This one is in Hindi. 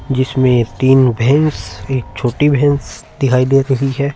जिसमे एक तीन भैंस एक छोटी भैंस दिखाई दे रही है।